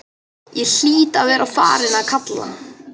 Ég hlýt að vera farin að kalka,